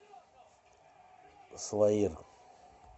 салаир